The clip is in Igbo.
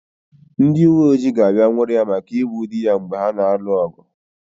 Ndị uweojii ga-abịa nwụrụ ya maka igbu dị ya mgbe ha na-alụ ọgụ.